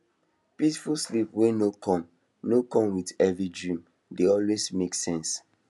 peaceful sleep wey no come no come with heavy dream dey always make sense